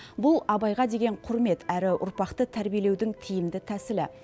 бұл абайға деген құрмет әрі ұрпақты тәрбиелеудің тиімді тәсілі